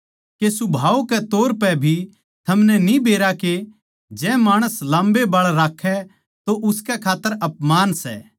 के सुभाव कै तौर पै भी थमनै न्ही बेरा के जै माणस लाम्बे बाळ राक्खै तो उसकै खात्तर अपमान सै